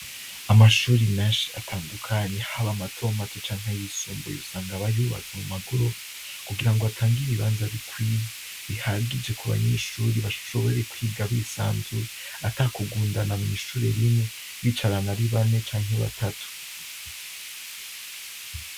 Amashuri menshi atandukanye h'aba matomato canke ay'isumbuye usanga bayubatse mumagorofa kugira ngo atanga ibibanza bikwiye bihagije ku banyeshuri bashobore kwiga bisanzuye atakugundana mw'ishure rimwe bicarana ari bane canke batatu.